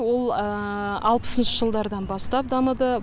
ол алпысыншы жылдардан бастап дамыды